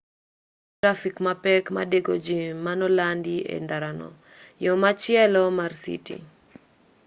ne onge trafik mapek madeko jii manolandi e ndarano yo machielo mar citi